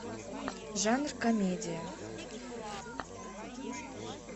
жанр комедия